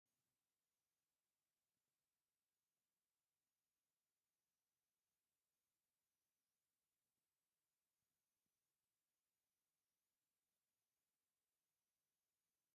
ኣብዝ ዝተፈላለዩ ናይ ገዛ መፀባበቂታት ንርኢ ኣለና። ከምኡ እውን ናይ ደቂ ኣነስትዮ መፀባበቂታት ንርኢ ኣለና። እዚ መፀባበቂታት ዝሽየጠሉ ቦታ ኣበይ ይከውን?